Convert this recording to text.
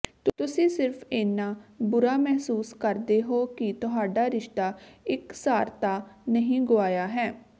ਤੁਸੀਂ ਸਿਰਫ ਇੰਨਾ ਬੁਰਾ ਮਹਿਸੂਸ ਕਰਦੇ ਹੋ ਕਿ ਤੁਹਾਡਾ ਰਿਸ਼ਤਾ ਇਕਸਾਰਤਾ ਨਹੀਂ ਗੁਆਇਆ ਹੈ